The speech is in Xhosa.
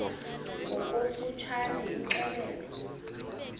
ngokofu tshane imxelele